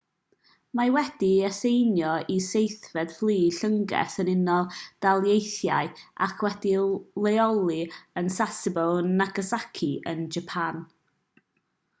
mae wedi'i aseinio i seithfed fflyd llynges yr unol daleithiau ac wedi'i leoli yn sasebo nagasaki yn japan